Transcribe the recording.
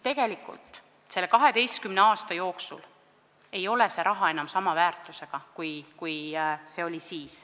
Tegelikult ei ole raha enam sama väärtusega kui siis, 12 aastat tagasi.